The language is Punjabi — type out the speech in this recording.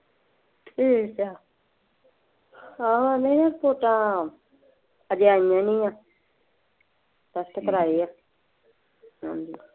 ਠੀਕ ਏ, ਹਾਂ ਨਈ ਆ ਰਿਪੋਟਾਂ ਹਜੇ ਆਇਆਂ ਨੀ ਆ test ਕਰਾਏ ਆ।